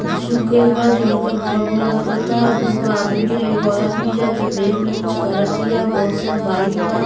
उ सुख गइल बा जो हल्का भूरा भूरा दिखत ता। दुगो आदमी एगो औरत भी है जो बैग में कुछ करत तिया। बहुत सारा बाइक बा।